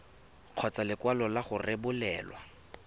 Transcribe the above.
kgotsa lekwalo la go rebolelwa